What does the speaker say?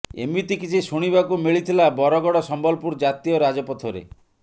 ଏମିତି କିଛି ଶୁଣିବାକୁ ମିଳିଥିଲା ବରଗଡ ସମ୍ବଲପୁର ଜାତୀୟ ରାଜପଥରେ